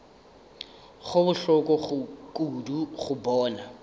go bohloko kudu go bona